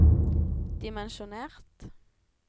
dimensjonert